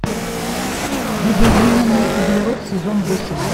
видоизмененный углерод сезон восемь